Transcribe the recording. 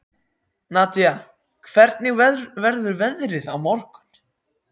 Nadia, hvernig verður veðrið á morgun?